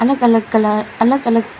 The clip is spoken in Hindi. अलग अलग कलर अलग अलग--